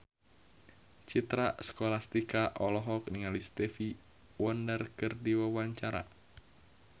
Citra Scholastika olohok ningali Stevie Wonder keur diwawancara